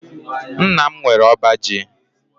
Nna m nwere ọba ji.